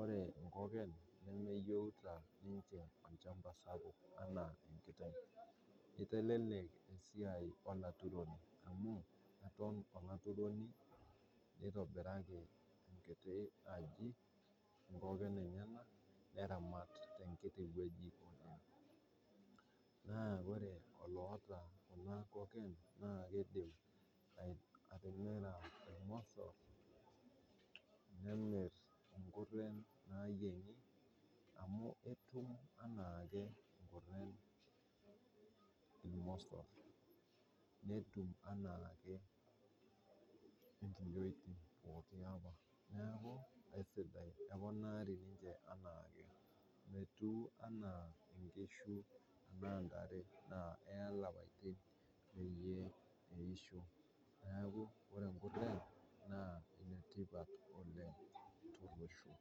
ore inkoken nemeyeuta ninche olchamba sapuk anaa inkiteng',eitelelek esiai enturore amuu eton olaituroni, neitobiraki nkiti aji inkoken enyena neramat te nkiti weji. Naa ore oloota kuna nkoken naa keidim keidim atimira ilmosor, nemir nkutii naayeng'i amu etum anaake inkoken ilmosor, netum anaake inkiyoitin pooki lapa, naaku aisidai, eponaari ninche anaake, metiu anaa inkishu anaa intare naa eya ilapatin peyie eisho, naaku ore inkone naa enetipat oleng te losho.